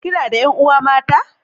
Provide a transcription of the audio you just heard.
Kina da 'yan uwa mata?